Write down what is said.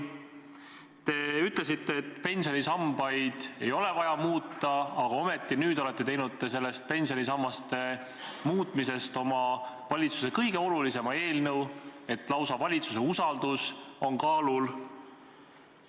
Te ütlesite, et pensionisambaid ei ole vaja muuta, aga ometi nüüd olete teinud pensionisammaste muutmisest oma valitsuse kõige olulisema eelnõu, nii et lausa valitsuse usaldus on kaalul.